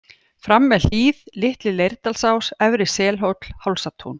Fram með Hlíð, Litli-Leirdalsás, Efri Selhóll, Hálsatún